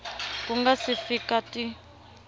ku nga si fika ti